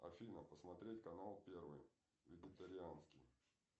афина посмотреть канал первый вегетарианский